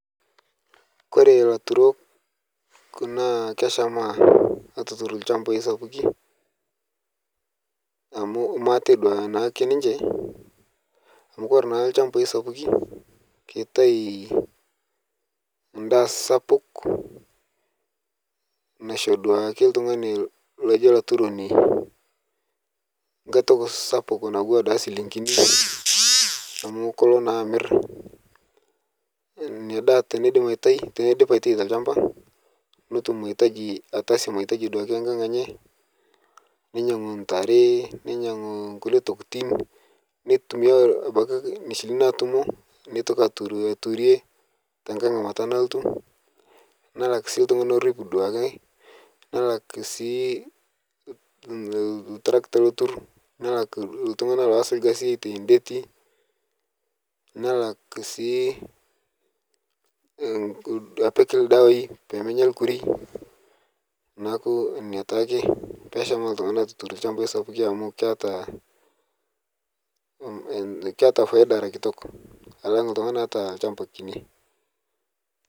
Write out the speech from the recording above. Kore laturok naa keshama atutur lshamba sapuki amu maaate naaduake ninche amu kore naa lshambai sapuki ketai ndaa sapuk loisho ltungana loji laturoni nkae toki natua duake silingini amu kolo naa amir nia ndaa tenedip atai telshamba notum atasie duake mahitaji nkang enye neyangu ntare nenyangu nkule tokitin neitumia abaki silingini natumo netoki aturie tenkae ngamata nalotu nalak ltungani lorip duake nelak sii ltaragita lotur nelak ltungana lotur aitai ndeti nelak sii apik ldawai penyaa lkurui naaku nia taake peshamaa ltungana atutur lshambai amu keata paida era kitok alang ltungani ota lshamba kini.